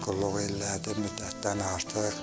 Qulluq elədi müddətdən artıq.